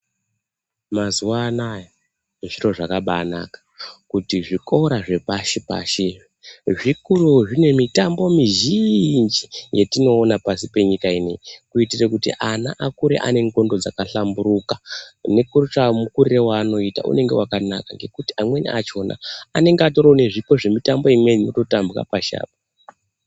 Mazuwa anaaya zviro zvakabaanaka kuti zvikora zvepashipashi zvikurewo zvine mitambo mizhiinji yetinoona pasi panyika ineiyi kuitire kuti ana akure ane ndxondo dzakahlamburuka nekotsva mukiriro waanoita unonge wakanaka, ngekuti amweni achona anonge atoriwo nezvipo zvemutambo zvemitambo imweni inototambwa pashi apo.